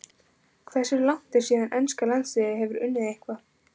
Hversu langt er síðan enska landsliðið hefur unnið eitthvað?